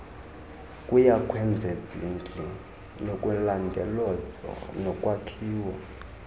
kuyokwezezindli nakulondolozo nokwakhiwa